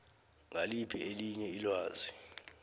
ngiliphi elinye ilwazi